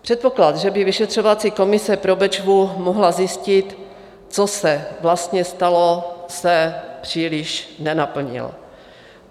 Předpoklad, že by vyšetřovací komise pro Bečvu mohla zjistit, co se vlastně stalo, se příliš nenaplnil.